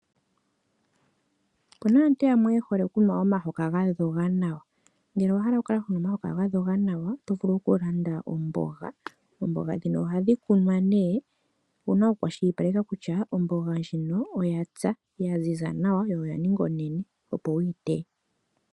Okuna aantu yamwe yehole okunwa omahoka gadhoga nawa. Ngele owahala wukale honu omahoka gadhoga nawa oto vulu okulanda omboga. Oomboga ndhino ohadhi kunwa nee ouna oku kwashilipaleka kutya omboga ndjino oyapya, yaziza nawa, yaninga onene opo wuyi teye.